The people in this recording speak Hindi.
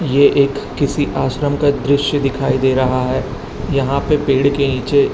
ये एक किसी आश्रम का दृश्य दिखाई दे रहा है यहां पे पेड़ के नीचे--